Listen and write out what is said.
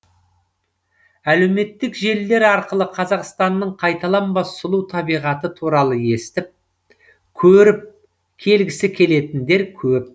әлеуметтік желілер арқылы қазақстанның қайталанбас сұлу табиғаты туралы естіп көріп келгісі келетіндер көп